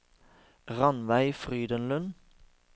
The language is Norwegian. Ranveig Frydenlund